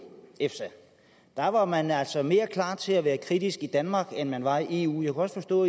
efsa der var man altså mere klar til at være kritisk i danmark end man var i eu jeg kunne også forstå